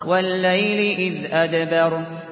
وَاللَّيْلِ إِذْ أَدْبَرَ